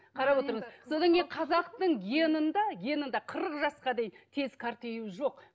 қарап отырыңыз содан кейін қазақтың генінде генінде қырық жасқа дейін тез қартаю жоқ